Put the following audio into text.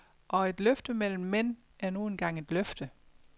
Og et løfte mellem mænd er nu engang et løfte.